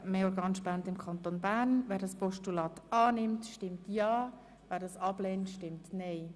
Mehr Organspenden im Kanton Bern!» annimmt, stimmt ja, wer es ablehnt, stimmt nein.